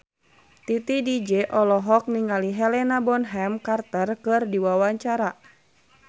Titi DJ olohok ningali Helena Bonham Carter keur diwawancara